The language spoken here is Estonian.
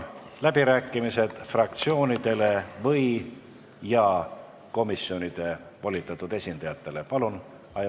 Avan fraktsioonide ja komisjonide volitatud esindajate läbirääkimised.